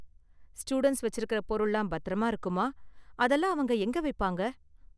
Students வெச்சுருக்கற பொருள்லாம் பத்திரமா இருக்குமா? அதெல்லாம் அவங்க எங்க வைப்பாங்க?